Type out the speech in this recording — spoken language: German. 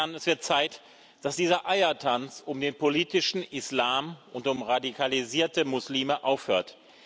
Es wird Zeit, dass dieser Eiertanz um den politischen Islam und um radikalisierte Muslime aufhört.